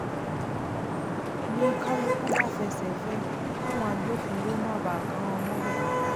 n ní kálukú bá fẹsẹ̀ fẹ́ ẹ káwọn agbófinró má bàa kà wọ́n mọ́bẹ̀